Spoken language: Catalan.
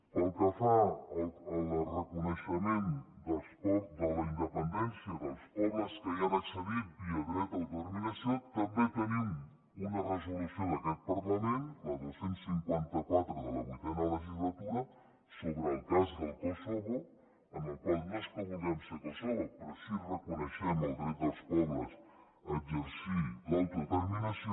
pel que fa al reconeixement de la independència dels pobles que hi han accedit via dret a l’autodeterminació també tenim una resolució d’aquest parlament la dos cents i cinquanta quatre de la vuitena legislatura sobre el cas del kosovo amb la qual no és que vulguem ser kosovo però sí que reconeixem el dret dels pobles a exercir l’autodeterminació